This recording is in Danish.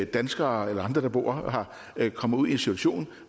danskere eller andre der bor der kan komme i en situation